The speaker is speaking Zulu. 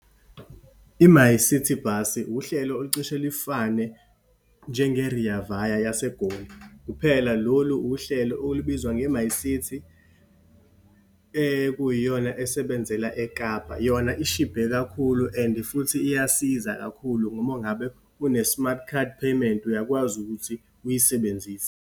I-MyCiTi bhasi, uhlelo olucishe lufane njenge-Rea Vaya yase Goli. Kuphela lolu uhlelo olubizwa nge-MyCiTi, ekuyiyona esebenzela eKapa. Yona ishibhe kakhulu and futhi iyasiza kakhulu ngoba ungabe une-smart card payment, uyakwazi ukuthi uyisebenzise.